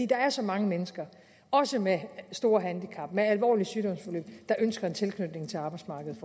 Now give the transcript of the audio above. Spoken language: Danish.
der er så mange mennesker også med store handicap med alvorlige sygdomsforløb der ønsker en fortsat tilknytning til arbejdsmarkedet